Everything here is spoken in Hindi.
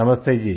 नमस्ते जी